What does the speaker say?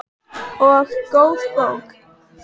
Og góð bók.